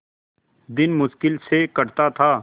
दिन मुश्किल से कटता था